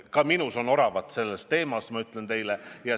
Ka minus on selle teema puhul oravat, ma ütlen teile.